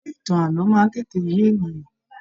Ṣe ìtàn ààlọ́ máa n tètè yé ènìyàn?